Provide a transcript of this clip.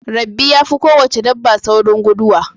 Rabbi ya fi ko wace dabba saurin guduwa